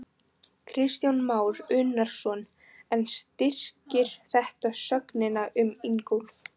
Kristján Már Unnarsson: En styrkir þetta sögnina um Ingólf?